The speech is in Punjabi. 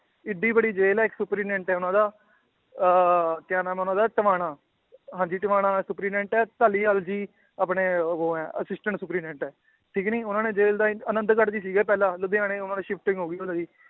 ਏਡੀ ਵੱਡੀ ਜੇਲ੍ਹ ਹੈ ਇੱਕ superintendent ਹੈ ਉਹਨਾਂ ਦਾ ਅਹ ਕਿਆ ਨਾਮ ਹੈ ਉਹਨਾਂ ਦਾ ਧਵਾਣਾ, ਹਾਂਜੀ ਧਵਾਣਾ superintendent ਹੈ ਧਾਲੀਵਾਲ ਜੀ ਆਪਣੇ ਉਹ ਹੈ assistant superintendent ਹੈ ਠੀਕ ਨੀ, ਉਹਨੇ ਜੇਲ੍ਹ ਦਾ ਆਨੰਦਗੜ੍ਹ 'ਚ ਸੀਗੇ ਪਹਿਲਾਂ ਲੁਧਿਆਣੇ shifting ਹੋ ਗਈ ਉਹਨਾਂ ਦੀ